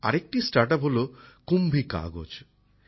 আরেকটি startup হল Kumbhi Kagaz Kumbhi Kagaz